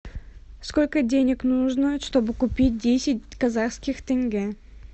сколько денег нужно чтобы купить десять казахских тенге